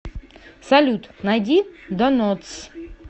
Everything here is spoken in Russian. салют найди донотс